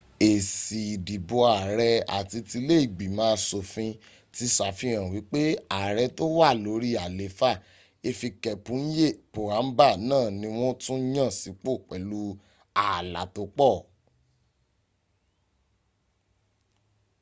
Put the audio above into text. èsì ìdìbò ààrẹ àti tilé ìgbìmọ̀ asòfin ti sàfihàn wípé ààrẹ̀ tó wà lórí àlééfà hifikepunye pohamba náà ni wọ́n tún yàn sípò pẹ̀lú ààlà tó pọ̀